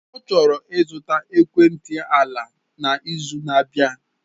Ọ chọrọ ịzụta ekwentị ala n'izu na-abịa.